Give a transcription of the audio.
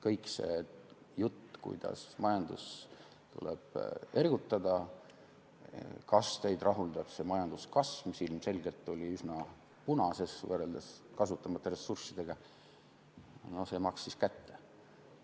Kogu see jutt, kuidas majandust tuleb ergutada, et kas teid rahuldab see majanduskasv, mis ilmselgelt oli üsna punases, võrreldes kasutamata ressurssidega – no see maksis kätte.